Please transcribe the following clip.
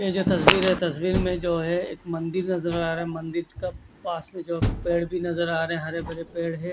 ये जो तस्वीर है तस्वीर में जो है एक मंदिर नज़र आ रह है मंदिर पेड़ भी नज़र आ रहे है हरे भरे पेड़ है।